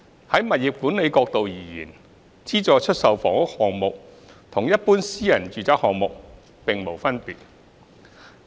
在物業管理角度而言，資助出售房屋項目與一般私人住宅項目沒有分別。